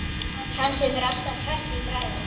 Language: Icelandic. Hann sem er alltaf hress í bragði.